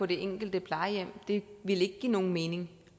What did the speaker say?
det enkelte plejehjem det ville ikke give nogen mening